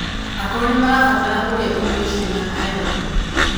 Akũrũ nimarabatara kũrĩa irio ciĩna iron